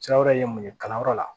Sira wɛrɛ ye mun ye kalanyɔrɔ la